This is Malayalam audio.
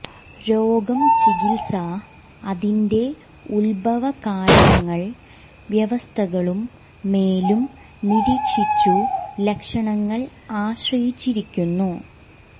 രോഗം ചികിത്സ അതിന്റെ ഉത്ഭവ കാരണങ്ങൾ വ്യവസ്ഥകളും മേലും നിരീക്ഷിച്ചു ലക്ഷണങ്ങൾ ആശ്രയിച്ചിരിക്കുന്നു